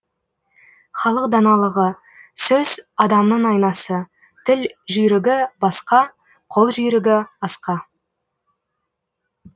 халық даналығы сөз адамның айнасы тіл жүйрігі басқа қол жүйрігі асқа